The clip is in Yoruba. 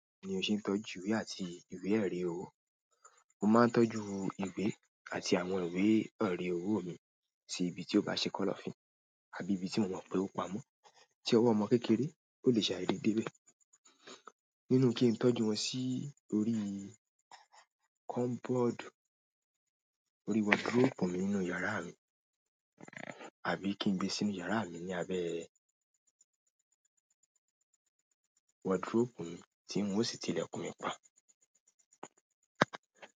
Ní òún ni o se n tọ́jú yi ìwé àti ìwé-ẹ̀rí ọwọ́. Mo máa n tọ́jú ìwé àti àwọn ìwé-ẹ̀rí ọwọ́ mi sí ibi tí ó bá ṣe kọ́lọ́fín àbí ibi tí mo mọ̀ pé ó pamọ́ tí ọwọ́ ọmọ kékeré ò lè ṣe àìrí dé bẹ̀. Nínú kí n tọ́jú wọn sí orí kọ́mbọ́ọ̀dù orí wọdróòpù mi nínú yàrá mi, àbí kí n gbé sínú yàrá mi ní abẹ́ wọdróòpù mi tí n ó sì ti ilẹ̀kùn mi pa.